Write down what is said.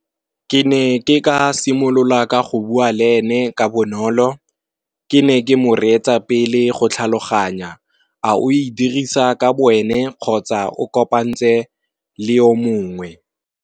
Ke ne ke ka simolola ka go bua le ene ka bonolo, ke ne ke mo reetsa pele go tlhaloganya a o e dirisa ka bo ene kgotsa o kopantse le o mongwe.